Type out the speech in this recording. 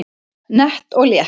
Nett og létt